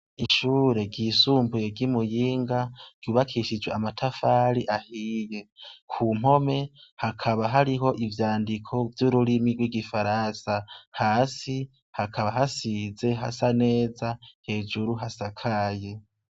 Ishure ryisumbuye ryi muyinga ,ryubakishije amatafari ahiye kugihome hakaba hariho ivyandiko mururimi rwigifaransa, hasi kaba hasize hasa neza hejuru hasakaye.